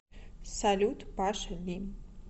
салют паша лим